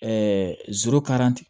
Ɛɛ